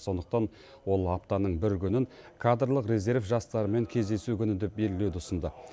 сондықтан ол аптаның бір күнін кадрлық резерв жастарымен кездесу күні деп белгілеуді ұсынды